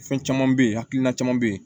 Fɛn caman bɛ yen hakilina caman bɛ yen